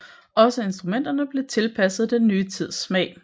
Også instrumenterne blev tilpasset den nye tids smag